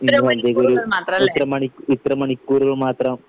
ഇത്ര മണിക്കൂർ മാത്രം ല്ലേ